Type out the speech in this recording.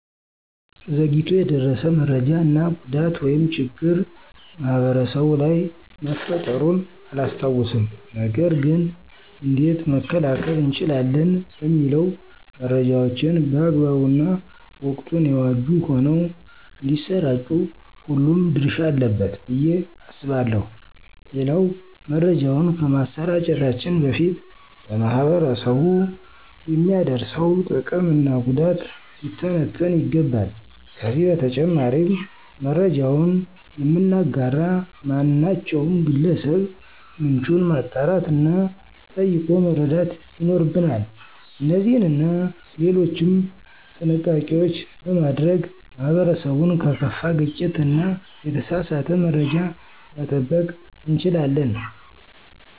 ዘግይቶ የደረሰ መሰጃ እና ጉዳት ወይም ችግር ማህበረሰቡ ላይ መፈጠሩን አላስታውስም። ነገር ገን እንዴት መከላከል እንችላለን? ለሚለው መረጃዎችን በአግባቡ እና ወቅቱን የዋጁ ሆነው እንዳሰራጩ ሁሉም ድረሻ አለበት ብዬ አስባለሁ። ሌላው መረጃውን ከማሰራጨታችን በፊት ለማህበረሰቡ የሚያደርሰው ጥቅም እና ጉዳት ሊተነተን ይገባል። ከዚህ በተጨማሪም መረጃውን የምናጋራ ማናቸውም ግለሰብ ምንጩን ማጣራት እና ጠይቆ መረዳት ይኖርብናል። እነዚህንና ሌሎችም ጥንቃቄዎች በማድረግ ማህበረሰቡን ከከፋ ግጭት እና የተሳሳተ መረጃ መጠበቅ እንችላለን።